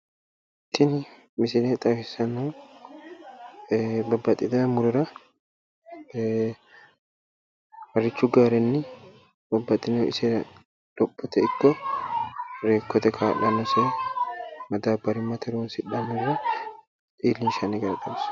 Tini misile xawissannohu babbaxxitino murora harrochu gaarenni madabbaru owaante aanno ishi hogomboonniha leellishanno misileeti